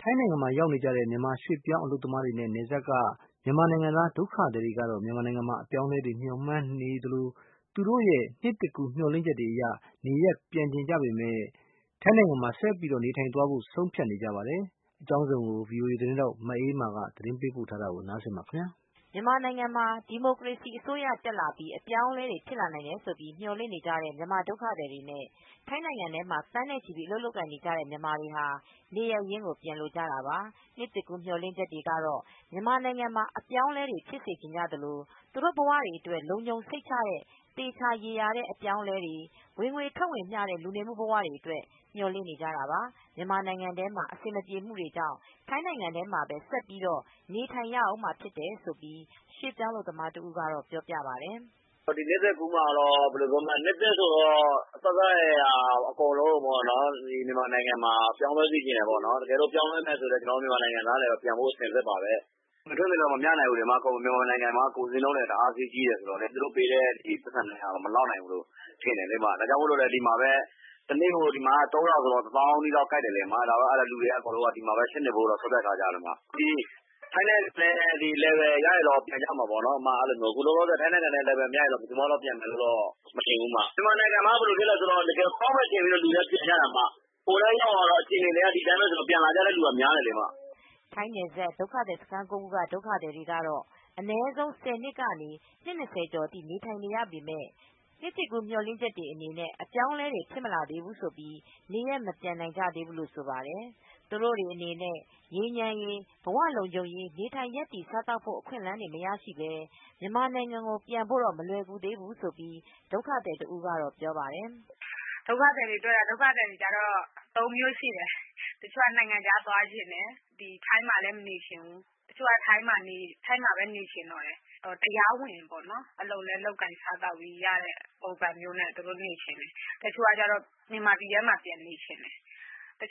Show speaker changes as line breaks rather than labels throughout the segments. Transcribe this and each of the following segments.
ထိုင်းနိုင်ငံရောက်နေကြတဲ့ မြန်မာရွှေ့ပြောင်းအလုပ်သမားတွေနဲ့ နယ်စပ် က မြန်မာနိုင်ငံသားဒုက္ခသည်တွေ ကတော့ မြန်မာနိုင်ငံမှာ အပြောင်းအလဲတွေကို မျှော်မှန်းနေသလို သူတို့ရဲ့ နှစ်သစ်ကူးမျှော်လင့်ချက်တွေ အရ နေရပ်ပြန်ချင်ကြပေမယ့် ထိုင်းနိုင်ငံမှာဆက်ပြီးနေထိုင်သွားဖို့ကို ဆုံးဖြတ်နေကြပါတယ်။ မအေးအေးမာက သတင်းပေးပို့ထားပါတယ်။
မြန်မာနိုင်ငံမှာ ဒီမိုကရေစီအစိုးရ တက်လာပြီး အပြောင်းအလဲတွေဖြစ်လာနိုင်တယ် ဆိုပြီးမျှော်လင့်နေကြတဲ့ မြန်မာဒုက္ခသည်တွေနဲ့ ထိုင်းနိုင်ငံမှာ သန်းနဲ့ချီပြီး အလုပ်လုပ်နေကြတဲ့မြန်မာတွေဟာ နေရပ်ရင်းကို ပြန်လိုကြတာပါ ။နှစ်သစ်ကူးမျှော်လင့်ချက်တွေကတော့မြန်မာနိုင်ငံမှာ အပြောင်းအလဲတွေဖြစ်စေချင်ကြသလို သူတို့ဘဝတွေအတွက် လုံခြုံ စိတ်ချမူှရှိတဲ့ သေချာရေရာတဲ့ အပြောင်းအလဲတွေ၊ ဝင်ငွေထွက်ငွေမျှတဲ့ လူနေမူဘဝတွေအတွက်မျှော်လင့်နေကြတာပါ။ မြန်မာနိုင်ငံထဲမှာ အဆင်မပြေမူတွေကြောင့် ထိုင်းနိုင်ငံမှာပဲ ဆက်ပြီးနေထိုင်နေရဦးမှာဖြစ်တယ်လို့ ရွှေ့ပြောင်းအလုပ်သမားတဦးကတော့ပြောပြပါတယ်။
"နှစ်သစ်ကူးမှာ နှစ်သစ်ဆိုတော့ အစစအရာရာပြောင်းလဲစေချင်တယ်လေပေါ့ ။ပြောင်းလဲမယ်ဆိုရင် ကျနော်တို့မြန်မာနိုင်ငံသားတွေလည်းပြန်ဖို့အဆင်သင့်ပါပဲ ဝင်ငွေထွက်ငွေမမျှဘူးမြန်မာနိုင်ငံမှာက ကုန်ဈေးနှုန်းတွေက ဈေးကြီးတယ် သူတို့ပေးတဲ့ဈေးမှ မလောက်နိုင်ဘူး မမျှနိုင်ဘူးလေ။ ဒါကြောင့်မို့ဒီမှာက တနေ့ကို ၃၀၀ဆိုတော့ ကျပ်တသောင်းလောက်ရတယ်ဆိုတော့ ကိုက်တယ် ။ ဒါကြောင့်မို့လူတွေက ဒီမှာပဲဆက်နေဖို့ ဆုံးဖြတ်ထားကြတယ် ပြီးရင် ထိုင်းနဲ့ အတူတူ (level) ရမယ်ဆိုရင် ပြန်ကြမှာပေါ့လောလောဆယ် အတူတူမရဘူးဆိုရင်တော့ ဘယ်သူမှာတော့ ပြန်မယ်မထင်ဘူး ။ မြန်မာနိုင်ငံကိုတော့ ဘယ်လိုဖြစ်လဲဆိုတော့ ကောင်းမယ်ဆိုပြီးပြန်ကြတာလေ ဟိုလည်ရောက်သွားတော့အခြေအနေတွေက ဒီအတိုင်းပဲဆိုတော့ပြန်လာကြတဲ့သူတွေကများတယ်လေ"
ထိုင်းနယ်စပ် ဒုက္ခသည်စခန်း ၉ခုက ဒုက္ခသည်တွေကတော့အနည်းဆုံး ၁၀နှစ်ကနေ နှစ် ၂၀ကျော်ထိနေထိုင်နေရပေမယ့် နှစ်သစ်ကူးမျှော်လင့်ချက်အနေနဲ့ အပြောင်းအလဲတွေဖြစ်မလာသေးဘူးဆိုပြီး နေရပ်မပြန်နိုင်ကြတာတွေလို့ဆိုပါတယ်။ သူတို့အနေနဲ့ ငြိမ်းချမ်းရေး၊ ဘဝလုံခြုံရေး နေထိုင်ရပ်တည်စားသောက်ဖို့ အခွင့်အလန်းတွေ မရရှိပဲ မြန်မာနိုင်ငံကိုပြန်ဖို့တော့ မလွယ်ကူးသေးဘူးဆိုပြီး ဒုက္ခသည်တဦးကတော့ ပြောပါတယ်။
" ဒုက္ခသည်တွေကတော့ ၃မျိုးရှိတယ် တချို့ နိုင်ငံခြားသွားချင်တယ် ထိုင်းမှာလဲမနေချင်တော့ဘူ တချို့ထိုင်းမှာပဲနေချင်တော့တယ် အလုပ်လည်းတရားဝင် လုပ်ကိုင်စားသောက်လို့ ရတဲ့ပုံစံမျိုးနဲ့ နေချင်တယ်။ တချို့လည်းမြန်မာပြည်ထဲမှာပဲနေချင်တယ်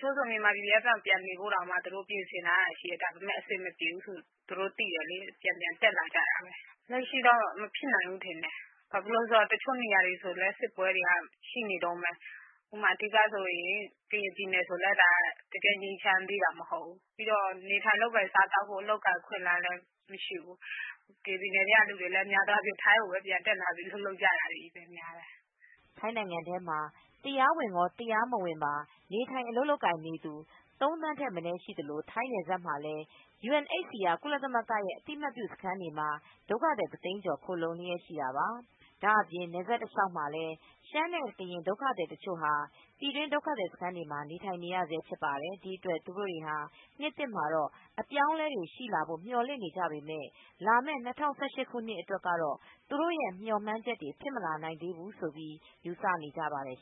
ဆိုပြီး ပြင်ဆင်ပြီးပြန်ကြတာရှိတယ်။ အဆင်မပြေတော့ နေလို့မရတော့ပြန်ပြန်တက်လာကြတယ် လက်ရှိတော့မဖြစ်နိုင်သေးဘူး ထင်တယ်။ တချို့နေရာတွေက စစ်ပွဲတွေကရှိနေတုန်းပဲ ကရင်ပြည်နယ်ထဲမှာလည်းငြိမ်းချမ်းသေးတာ မဟုတ်ဘူး။ နေထိုင်လုပ်ကိုင်စားသောက်ဖို့ အခွင့်အလန်းတွေလည်း မရှိသေးဘူး ကရင်ပြည်နယ်ထဲက လူတွေလည်း ထိုင်းကိုတက်လာပြီးအလုပ်ပြန်လာလုပ်ကြတာပဲ
" ထိုင်းနိုင်ငံထဲမှာ တရားဝင်ကော၊ တရားမဝင်ကောနေထိုင်အလုပ်လုပ်ကိုင်နေသူ ၃သန်းထက်မနည်းရှိနေသလို ထိုင်းနယ်စပ်မှာလည်း ယူအန်အိပ်စီအာ ကုလသမဂ္ဂ ရဲ့အသိမှတ်ပြုစခန်းတွေမှာ ဒုက္ခသည်တသိန်းကျော်လောက်ရှိနေတာပါ။ ဒါ့အပြင် နယ်စပ်တလျောက်မှာလည်း ရှမ်းနဲ့ ကရင်ဒုက္ခသည်တချို့ဟာ ပြည်တွင်းဒုက္ခသည်စခန်းတွေမှာနေထိုင်နေရဆဲဖြစ်ပါတယ်။ ဒီအတွက် သူတို့ဟာနှစ်သစ်မှာတော့ အပြောင်းအလဲတွေရှိလာဖို့ မျှော်လင့်နေကြပေမယ့် လာမယ့် ၂၀၁၈ခုနှစ်အတွက်တော့သူတို့ရဲ့မျှော်မှန်းချက်တွေဖြစ်မလာနိုင်သေးဘူးလို့ ယူဆနေကြပါတယ်